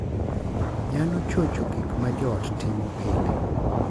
Nyalo chocho gik ma joot timo pile